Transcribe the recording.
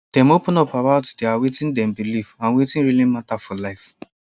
dem open up about their wetin dem believe and wetin really matter for life